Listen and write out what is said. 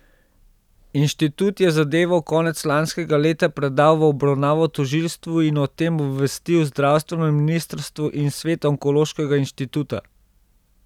Inštitut je zadevo konec lanskega leta predal v obravnavo tožilstvu in o tem obvestil zdravstveno ministrstvo in svet onkološkega inštituta.